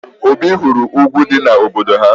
Obi hụrụ ugwu dị n'obodo ha